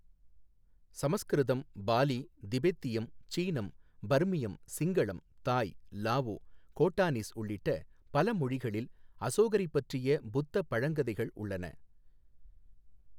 சமஸ்கிருதம், பாலி, திபெத்தியம், சீனம், பர்மியம், சிங்களம், தாய், லாவோ, கோட்டானீஸ் உள்ளிட்ட பல மொழிகளில் அசோகரைப் பற்றிய புத்த பழங்கதைகள் உள்ளன.